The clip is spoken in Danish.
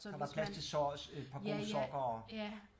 Så der er plads til et par gode sokker og